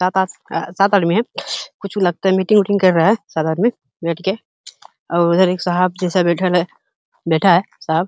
में कुछ लगता है मीटिंग विटिंग कर रहे है साथ में बैठकर और उधर एक सांप जैसा बैठा है। बैठा है साफ --